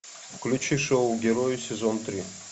включи шоу герои сезон три